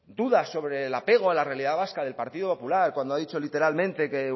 duda sobre el apego a la realidad vasca del partido popular cuando ha dicho literalmente que